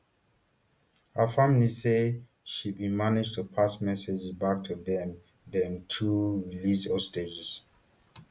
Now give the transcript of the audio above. her family say she bin manage to pass messages back to dem dem through released hostages